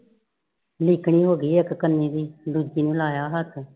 ਲਿਕਣੀ ਹੋ ਗਈ ਇਕ ਕਨੀ ਦੀ ਦੂਜੀ ਨੂ ਲਾਯਾ ਹੈ ਹੱਥ